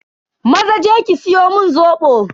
Maza je ki siyo mun Zobo.